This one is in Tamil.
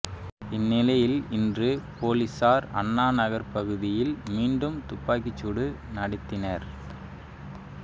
இந்நிலையில் இன்று பொலிசார் அண்ணா நகர் பகுதியில் மீண்டும் துப்பாக்கிச் சூடு நடத்தினர்